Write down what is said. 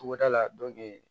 Togoda la